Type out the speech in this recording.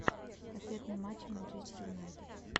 ответные матчи манчестер юнайтед